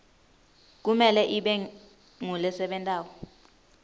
kumele ibe ngulesebentako